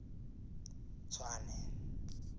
tswane